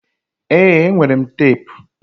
Ee, enwere m teepu